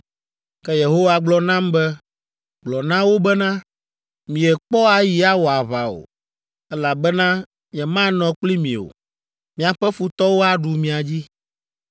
Ke Yehowa gblɔ nam be, “Gblɔ na wo bena, ‘Miekpɔ ayi awɔ aʋa o, elabena nyemanɔ kpli mi o. Miaƒe futɔwo aɖu mia dzi.’ ”